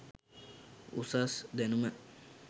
උසස් දැනුම